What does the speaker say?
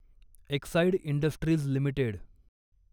Exide Industries limited